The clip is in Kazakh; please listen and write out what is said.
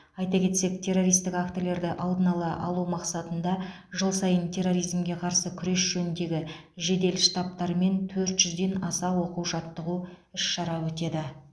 айта кетсек террористік актілерді алдын алу мақсатында жыл сайын терроризмге қарсы күрес жөніндегі жедел штабатарымен төрт жүзден аса оқу жаттығу іс шара өтеді